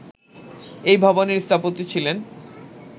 এই ভবনের স্থপতি ছিলেন